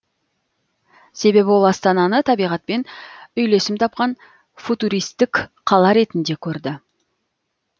себебі ол астананы табиғатпен үйлесім тапқан футуристік қала ретінде көрді